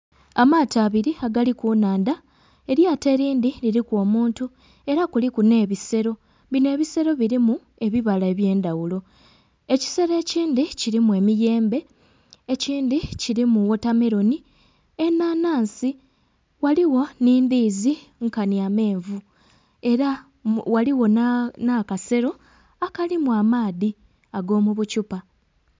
Amaato abiri agali ku nhandha elyato erindhi liriku omuntu era kuliku nhe bisero binho ebisero birmu ebibala ebye ndhaghulo. Ekisero ekindhi kirimu emiyembe, ekindhi wotameroni, enhanhansi, ghaligho nhi ndhiizi nkanhi amenvu era ghaligho nha kasero akalimu amaadhi ago mu buthupa.